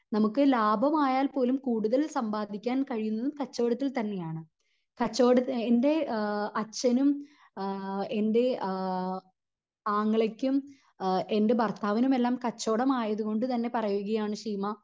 നമുക്ക് ലാഭം ആയാൽ പോലും കൂടുതൽ സമ്പാദിക്കാൻ കഴിയുന്നതും കച്ചവടത്തിൽ തന്നെ ആണ് കച്ചവട എൻ്റെ ഏഹ് അച്ഛനും ആഹ് എൻ്റെ ആഹ് ആങ്ങളക്കും അഹ് എൻ്റെ ഭർത്താവിനും എല്ലാം കച്ചവടം ആയതു കൊണ്ട് തന്നെ പറയുകയാണ് ശീമ